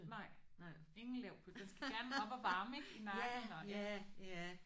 Nej nej. Ingen lav pølse. Den skal gerne op og varme ikk i nakken og ja